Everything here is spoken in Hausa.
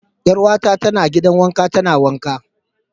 Yar'uwata tana gidan wanka tana wanka.